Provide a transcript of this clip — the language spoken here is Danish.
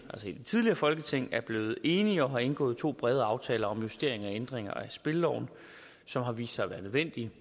i det tidligere folketing er blevet enige og har indgået to brede aftaler om justering og ændringer af spilleloven som har vist sig at være nødvendige